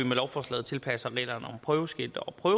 gunstige